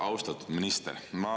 Austatud minister!